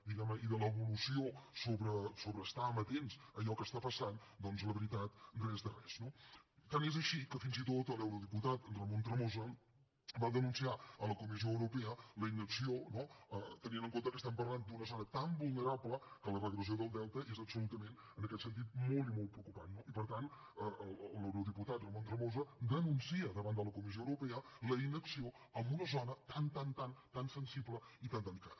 diguem ne i de l’evolució sobre estar amatents a allò que està passant doncs la veritat res de res no tant és així que fins i tot l’eurodiputat ramon tremosa va denunciar a la comissió europea la inacció no tenint en compte que estem parlant d’una zona tan vulnerable que la regressió del delta és absolutament en aquest sentit molt i molt preocupant no i per tant l’eurodiputat ramon tremosa denuncia davant de la comissió europea la inacció en un zona tan tan tan tan sensible i tan delicada